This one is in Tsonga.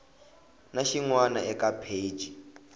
na xin wana eka pheji